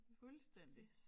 Fuldstændig